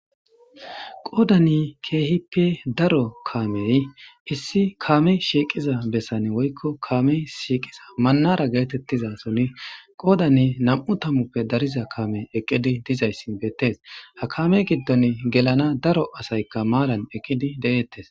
qoodani keehippe daro kaamey issi kaame shiiqiza bessane woykko kaame shiiqiza mannara geetettiza soni qoodani nam7u tamuppe dariza kaame eqqidi dizayssin beettees ha kaame giddon gelana daro asaykka maalan eqqidi de7eettes